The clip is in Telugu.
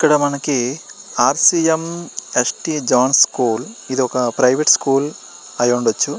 ఇక్కడ మనకి R C M S T zone school ఇది ఒక ప్రైవేట్ స్కూల్ అయ్యి ఉంటుది .